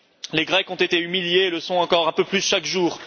Les Grecs ont été humiliés et le sont encore un peu plus chaque jour.